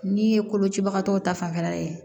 N'i ye kolocibagatɔw ta fanfɛla ye